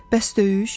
Bəs döyüş?